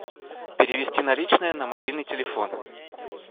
перевести наличные на мобильный телефон